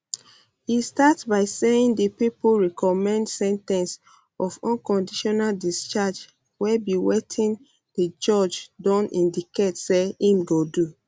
e start by saying di pipo recommend sen ten ce of unconditional discharge wey be wetin di judge don indicate say im go do